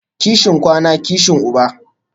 Kishin kwana, kishi uba